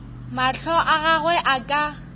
mahlo a gagwe a ka